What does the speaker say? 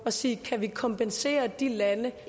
at sige kan vi kompensere de lande